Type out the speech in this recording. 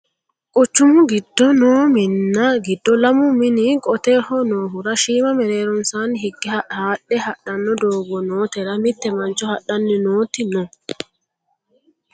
quchumu giddo noo minna giddo lamu mini qoteho noohura shiima mereeronsaanni higge haadhe hadhanno doogo nootera mitte mancho hadhanni nooti no